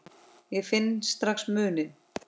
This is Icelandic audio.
Ég finn strax muninn.